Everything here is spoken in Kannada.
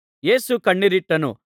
ಯೇಸು ಕಣ್ಣೀರಿಟ್ಟನು